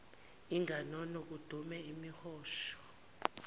inganono kudume imihosha